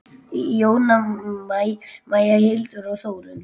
Jóna Maja, Hildur og Þórunn.